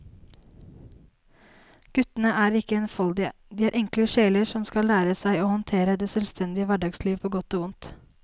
Guttene er ikke enfoldige, de er enkle sjeler som skal lære seg å håndtere det selvstendige hverdagslivet på godt og vondt.